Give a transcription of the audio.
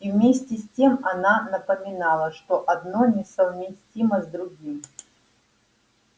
и вместе с тем она понимала что одно несовместимо с другим